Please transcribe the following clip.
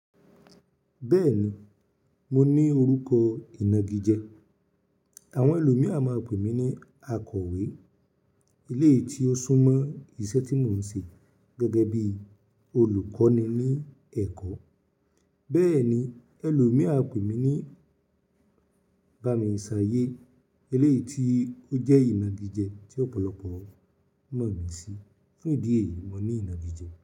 Bẹ́ẹ̀ni, mo ní orúkọ ìnagijẹ. Àwọn ẹlòmí á máa ń pè mí ní Akọ̀wé eléyìí tí ó sún mọ́ iṣẹ́ tí mò ń ṣe gẹ́gẹ́ bí olùkọ́ni ní ẹ̀kọ́. Bẹ́ẹ̀ ni, ẹlòmí á pè mí ní Bamísàyé eléyìí tí ó jẹ́ ìnagijẹ tí ọ̀pọ̀lọpọ̀ mọ̀ mí sí. Fún ìdí èyí, mo ní ìnagijẹ.